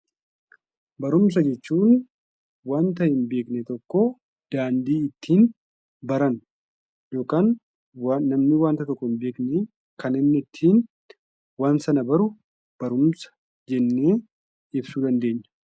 Barumsa jechuun waanta hin beekne tokko daandii ittiin barannu yookaan namni waanta tokko hin beekne tokko kan inni ittiin waan sana baru barumsa jennee ibsuu dandeenya.